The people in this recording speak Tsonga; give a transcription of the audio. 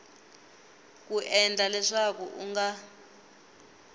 ku endla leswaku u nga